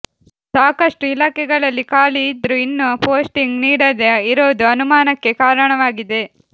ಸಾಕಷ್ಟು ಇಲಾಖೆಗಳಲ್ಲಿ ಖಾಲಿ ಇದ್ರೂ ಇನ್ನೂ ಪೋಸ್ಟಿಂಗ್ ನೀಡದೇ ಇರೋದು ಅನುಮಾನಕ್ಕೆ ಕಾರಣವಾಗಿದೆ